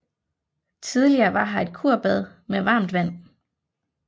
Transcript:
Tidligere var her et kurbad med varmt vand